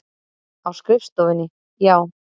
Á skrifstofunni, já.